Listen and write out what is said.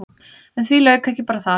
En því lauk ekki bara þar.